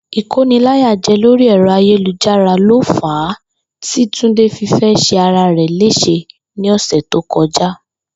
Ìkóniláyàjé̩ lórí è̩ro̩ ayélujára lo fàá tí Túndé fi fé̩ s̩e ara rè̩ lés̩e ní ò̩sè̩ tó ko̩já